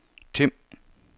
Tim